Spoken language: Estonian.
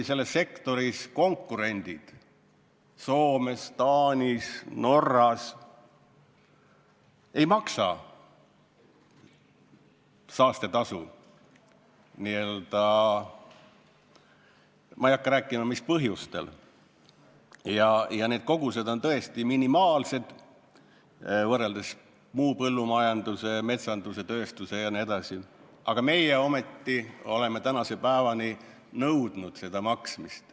Selle sektori konkurendid Soomes, Taanis ja Norras ei maksa saastetasu ja need kogused on minimaalsed võrreldes muu põllumajanduse, metsanduse, tööstuse jne kogustega, aga meie oleme ometi tänase päevani nõudnud selle tasu maksmist.